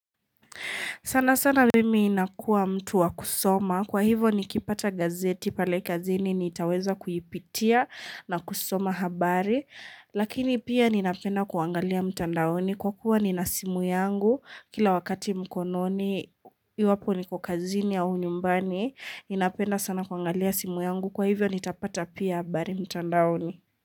Sana sana mimi inakua mtu wa kusoma, kwa hivyo nikipata gazeti pale kazini nitaweza kuyipitia na kusoma habari. Lakini pia ninapena kuangalia mtandaoni kwa kuwa ninasimu yangu kila wakati mkononi iwapo niko kazini au nyumbani. Ninapenda sana kuangalia simu yangu kwa hivyo nitapata pia habari mtandaoni.